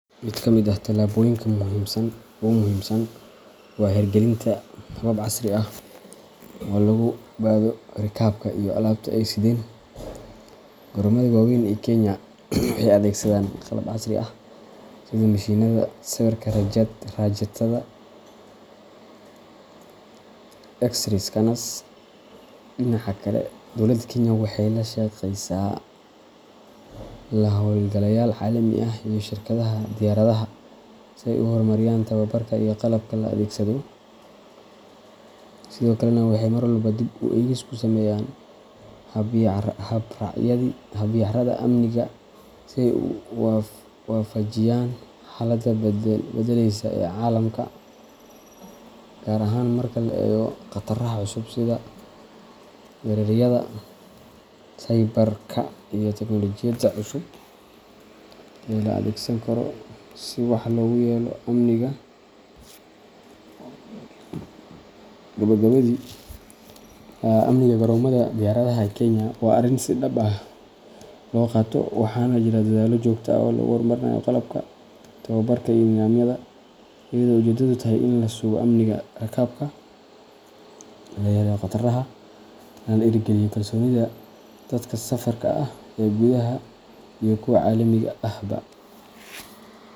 Mid ka mid ah tallaabooyinka ugu muhiimsan waa hirgelinta habab casri ah oo lagu baadho rakaabka iyo alaabta ay sideen. Garoomada waaweyn ee Kenya waxay adeegsadaan qalab casri ah sida mishiinnada sawirka raajada X-ray scanners. Dhinaca kale, dowladda Kenya waxay la shaqeysaa la-hawlgalayaal caalami ah iyo shirkadaha diyaaradaha si ay u horumariyaan tababarka iyo qalabka la adeegsado, sidoo kalena waxay marwalba dib u eegis ku sameeyaan habraacyada amniga si ay u waafajiyaan xaaladda is beddeleysa ee caalamka, gaar ahaan marka la eego khataraha cusub sida weerarada cyberka iyo teknoolojiyadda cusub ee la adeegsan karo si wax loogu yeelo amniga. Gabagabadii, amniga garoomada diyaaradaha ee Kenya waa arrin si dhab ah loo qaato, waxaana jira dadaallo joogto ah oo lagu horumarinayo qalabka, tababarka iyo nidaamyada, iyadoo ujeedadu tahay in la sugo amniga rakaabka, loo yareeyo khataraha, lana dhiirrigeliyo kalsoonida dadka safarka ah ee gudaha iyo kuwa caalamiga ahba.